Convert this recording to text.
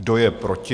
Kdo je proti?